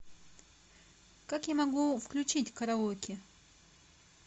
как я могу включить караоке